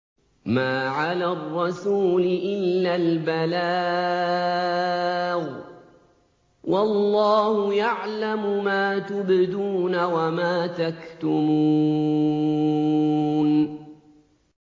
مَّا عَلَى الرَّسُولِ إِلَّا الْبَلَاغُ ۗ وَاللَّهُ يَعْلَمُ مَا تُبْدُونَ وَمَا تَكْتُمُونَ